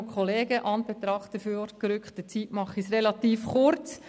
In Anbetracht der vorgerückten Zeit mache ich es relativ kurz.